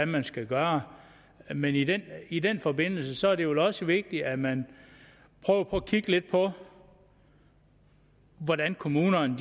man skal gøre men i den i den forbindelse er det også vigtigt at man prøver på at kigge lidt på hvordan kommunerne